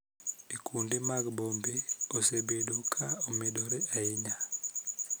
E kuonde mag bombe osebedo ka omedore ahinya